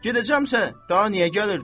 Gedəcəmsə, daha niyə gəlirdim?